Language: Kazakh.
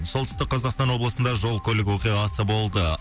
солтүстік қазақстан облысында жол көлік оқиғасы болды